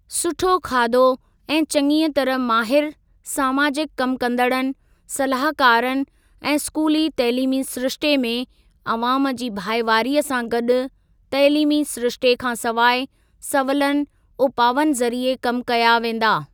सुठो खाधो ऐं चङीअ तरह माहिर सामाजिक कम कंदड़नि, सलाहकारनि ऐं स्कूली तइलीमी सिरिश्ते में अवाम जी भाईवारीअ सां गॾु तइलीमी सिरिश्ते खां सवाइ सवलनि उपावनि ज़रीए कम कया वेंदा।